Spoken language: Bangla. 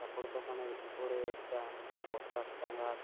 কাপড় দোকান এর উপরে একটা পোস্টার টাঙা--